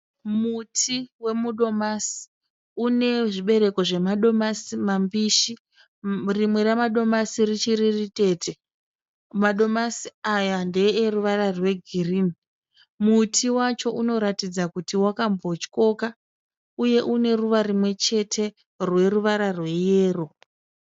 Muti wemudomasi une zvibereko zvemadomasi mambishi, rimwe ramadomasi richiri ritete madomasi aya ndeeruvara rwegirini, muti wacho unoratidza kuti wakambotyoka uye une ruva rimwe chete rweruvara rweyero.